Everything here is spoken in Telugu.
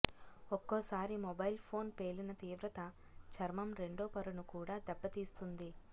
ఒక్కోసారి మొబైల్ ఫోన్ పేలిన తీవ్రత చర్మం రెండో పొరనుకూడా దెబ్బ తీస్తుంది